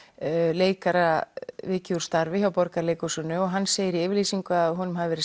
leikara vikið úr starfi frá Borgarleikhúsinu og hann segir í yfirlýsingu að honum hafi verið